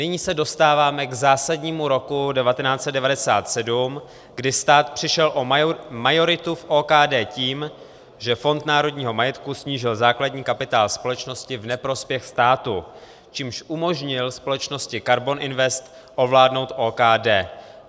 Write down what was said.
Nyní se dostáváme k zásadnímu roku 1997, kdy stát přišel o majoritu v OKD tím, že Fond národního majetku snížil základní kapitál společnosti v neprospěch státu, čímž umožnil společnosti Karbon Invest ovládnout OKD.